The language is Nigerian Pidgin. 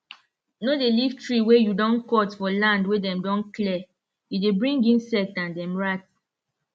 no dey leave tree wey you don cut for land wey dem don clear e dey bring insect and dem rats